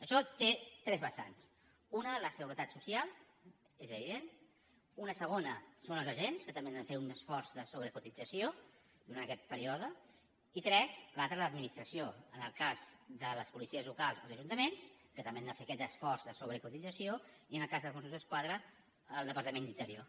això té tres vessant una la seguretat social és evident una segona són els agents que també han de fer un esforç de sobrecotització durant aquest període i tres l’altra l’administració en el cas de les policies locals els ajuntaments que també han de fer aquest esforç de sobrecotització i en el cas dels mossos d’esquadra el departament d’interior